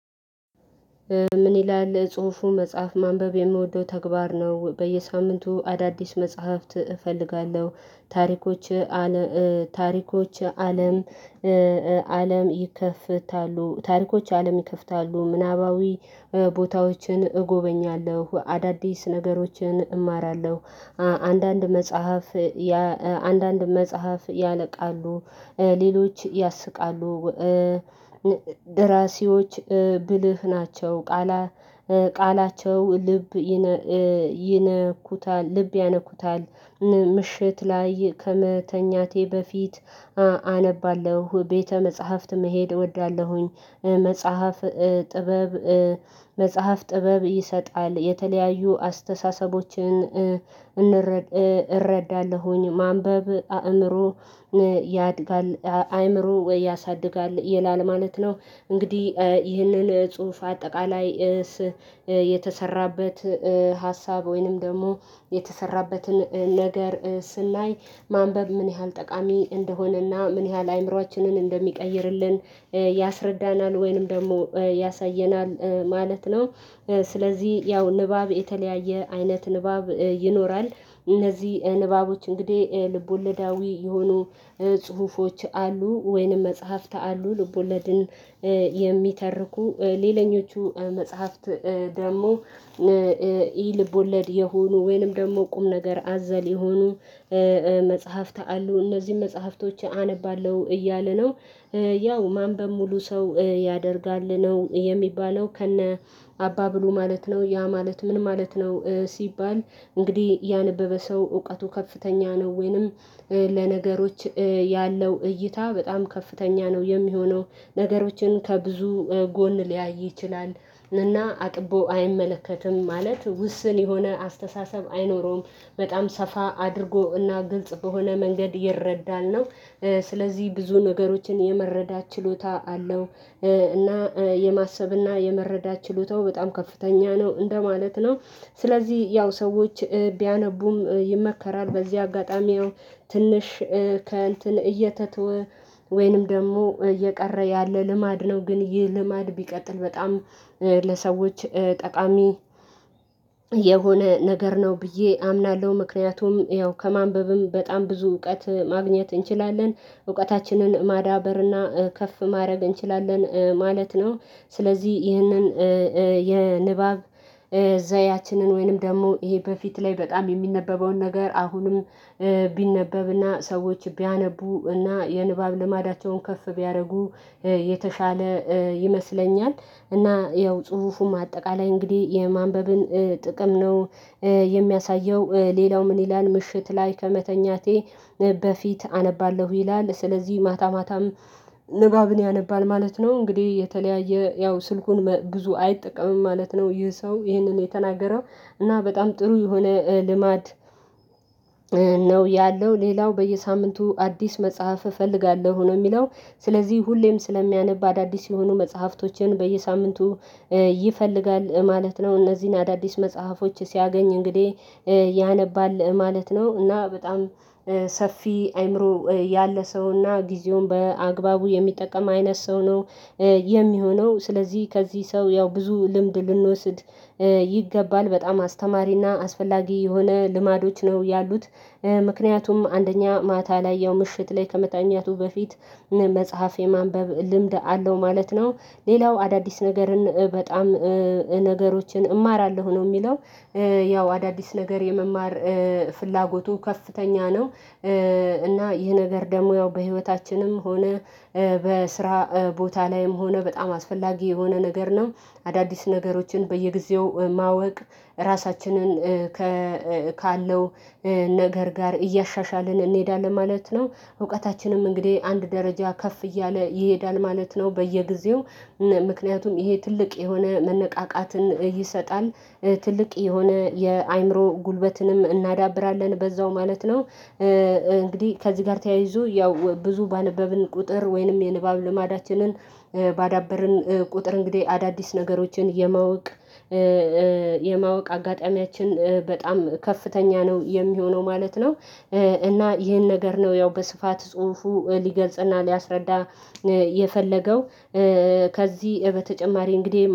ምን ይላል ጽሁፉ መጽሐፍ ማንበብ የምወደው ተግባር ነው። በየሳምንቱ አዳዲስ መጽሐፍት እፈልጋለሁ ታሪኮች ታሪኮች አለም አለም ይከፍታሉ ታሪኮች አለም ይከፍታሉ ምናባዊ ቦታዎችን እጎበኛለሁ አዳዲስ ነገሮችን እማራለሁ። አንዳንድ መጽሐፍ አንዳንድ መጽሐፍ ያለቃሉ ሌሎች ያስቃሉ። ደራሲዎች ብልህ ናቸው ቃላ ቃላቸው ልብ ይነኩታል ልብ ያነኩታል ላይ ምሽት ላይ ከመተኛቴ በፊት አነባለሁ ቤተ መጽሐፍት መሄድ እወዳለሁኝ። መጽሐፍ ጥበብ ይሰጣል የተለያዩ አስተሳሰቦችን እረዳለሁኝ ማንበብ አእምሮ ያድጋል አይምሮ ወይ ያሳድጋል ይላል ማለት ነው። እንግዲህ ይህንን ጽሁፍ አጠቃላይ የተሰራበት ሀሳብ ወይንም ደግሞ የተሰራበትን ነገር ስናይ ማንበብ ምን ያህል ጠቃሚ እንደሆነና ምን ያህል አእምሮአችንን እንደሚቀይርልን ያስረዳናል ወይንም ደግሞ ያሳየናል ማለት ነው። ስለዚህ ያው ንባብ የተለያየ አይነት ንባብ ይኖራል እነዚህ ንባቦች እንግዲህ ልቦለዳዊ የሆኑ አሉ ወይንም መጽሐፍት አሉ። ልቦለድን የሚተርኩ ሌላኞቹ መጽሐፍት ደግሞ ይህ ልቦለድ የሆኑ ወይንም ደግሞ ቁም ነገር አዘል የሆኑ መጽሐፍት አሉ እነዚህን መጽሐፍቶች አነባለሁ እያለ ነው። ያው ማንበብ ሙሉ ሰው ያደርጋል ነው የሚባለው ከነ አባባሉ ማለት ነው ያ ማለት ምን ማለት ነው ሲባል እንግዲህ ያነበበ ሰው እውቀቱ ከፍተኛ ነው ወይንም ለነገሮች ያለው እይታ በጣም ከፍተኛ ነው። የሚሆነው ነገሮችን ከብዙ ጎን ሊያይ ይችላል እና አጥቦ አይመለከትም ማለት ውስን የሆነ አስተሳሰብ አይኖረውም። በጣም ሰፋ አድርጎ እና ግልጽ በሆነ መንገድ ይረዳል ነው ስለዚህ ብዙ ነገሮችን የመረዳት ችሎታ አለው እና የማሰብና የመረዳት ችሎታው በጣም ከፍተኛ ነው እንደማለት ነው። ስለዚህ ያው ሰዎች ቢያነቡም ይመከራል በዚህ አጋጣሚው ያው ትንሽ ከእንትን እየተተወ ወይንም ደግሞ እየቀረ ያለ ልማድ ነው ግን ይህ ልማድ ቢቀጥል በጣም ለሰዎች ጠቃሚ የሆነ ነገር ነው ብዬ አምናለሁ ምክንያቱም ያው ከማንበብም በጣም ብዙ እውቀት ማግኘት እንችላለን እውቀታችንን ማዳበርና ከፍ ማድረግ እንችላለን ማለት ነው። ስለዚህ ይህንን የንባብ ዘያችንን ወይንም ደግሞ ይሄ በፊት ላይ በጣም የሚነበበውን ነገር አሁንም ቢነበብና ሰዎች ቢያነቡና የንባብ ልማዳቸውን ከፍ ቢያደርጉ የተሻለ ይመስለኛል። እና ያው ጽሁፉም አጠቃላይ እንግዲህ የማንበብን ጥቅም ነው። የሚያሳየው ሌላው ይላል ምሽት ላይ ከመተኛቴ በፊት አነባለሁ ይላል ስለዚህ ማታ ማታም ንባብን ያነባል ማለት ነው። እንግዲህ የተለያየ ያው ስልኩን ብዙ አይጠቀምም ማለት ነው ይህ ሰው ይህንን የተናገረው እና በጣም ጥሩ የሆነ ልማድ ነው። ያለው ሌላው በየሳምንቱ አዲስ መጽሐፍ እፈልጋለሁ ነው የሚለው ስለዚህ ሁሌም ስለሚያነብ አዳዲስ የሆኑ መጽሐፍቶችን በየሳምንቱ ይፈልጋል ማለት ነው። እነዚህን አዳዲስ መጽሐፎች ሲያገኝ እንግዲህ ያነባል ማለት ነው እና በጣም ሰፊ አይምሮ ያለ ሰው እና ጊዜውን በአግባቡ የሚጠቀም አይነት ሰው ነው። የሚሆነው ስለዚህ ከዚህ ሰው ያው ብዙ ልምድ ልንወስድ ይገባል በጣም አስተማሪና አስፈላጊ የሆነ ልማዶች ነው ያሉት ምክንያቱም አንደኛ ማታ ላይ ያው ምሽት ላይ ከመታኛቱ በፊት መጽሐፍ የማንበብ ልምድ አለው ማለት ነው። ሌላው አዳዲስ ነገርን በጣም ነገሮችን እማራለሁ ነው የሚለው ያው አዳዲስ ነገር የመማር ፍላጎቱ ከፍተኛ ነው እና ይህ ነገር ደግሞ ያው በህይወታችንም ሆነ በስራ ቦታ ላይም ሆነ በጣም አስፈላጊ የሆነ ነገር ነው። አዳዲስ ነገሮችን በየጊዜው ማወቅ ራሳችንን ካለው ነገር ጋር እያሻሻልን እንሄዳለን ማለት ነው እውቀታችንም እንግዲህ አንድ ደረጃ ከፍ እያለ ይሄዳል ማለት ነው። በየጊዜው ምክንያቱም ይሄ ትልቅ የሆነ መነቃቃትን ይሰጣል ትልቅ የሆነ የአእምሮ ጉልበትንም እናዳብራለን በዛው ማለት ነው። እንግዲህ ከዚህ ጋር ተያይዞ ያው ብዙ ባነበብን ቁጥር ወይንም የንባብ ልማዳችንን ባዳበርን ቁጥር እንግዲህ አዳዲስ ነገሮችን የማወቅ የማወቅ አጋጣሚያችን በጣም ከፍተኛ ነው የሚሆነው ማለት ነው። እና ይሄን ነገር ነው ያው በስፋት ጽሁፉ ሊገልጽና ሊያስረዳ የፈለገው ከዚህ በተጨማሪ እንግዲህ